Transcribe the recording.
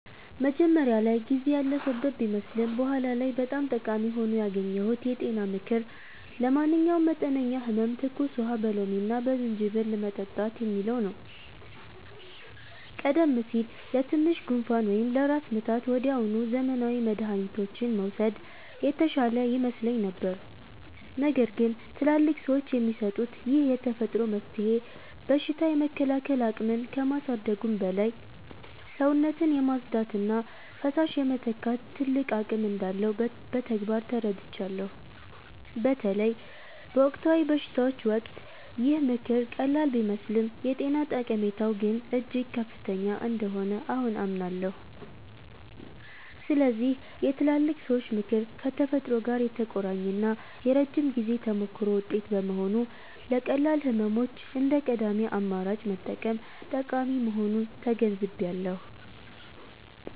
መጀመሪያ ላይ ጊዜ ያለፈበት ቢመስልም በኋላ ላይ በጣም ጠቃሚ ሆኖ ያገኘሁት የጤና ምክር 'ለማንኛውም መጠነኛ ህመም ትኩስ ውሃ በሎሚና በዝንጅብል መጠጣት' የሚለው ነው። ቀደም ሲል ለትንሽ ጉንፋን ወይም ለራስ ምታት ወዲያውኑ ዘመናዊ መድኃኒቶችን መውሰድ የተሻለ ይመስለኝ ነበር። ነገር ግን ትላልቅ ሰዎች የሚሰጡት ይህ የተፈጥሮ መፍትሄ በሽታ የመከላከል አቅምን ከማሳደጉም በላይ፣ ሰውነትን የማጽዳትና ፈሳሽ የመተካት ትልቅ አቅም እንዳለው በተግባር ተረድቻለሁ። በተለይ በወቅታዊ በሽታዎች ወቅት ይህ ምክር ቀላል ቢመስልም የጤና ጠቀሜታው ግን እጅግ ከፍተኛ እንደሆነ አሁን አምናለሁ። ስለዚህ የትላልቅ ሰዎች ምክር ከተፈጥሮ ጋር የተቆራኘና የረጅም ጊዜ ተሞክሮ ውጤት በመሆኑ፣ ለቀላል ህመሞች እንደ ቀዳሚ አማራጭ መጠቀም ጠቃሚ መሆኑን ተገንዝቤያለሁ።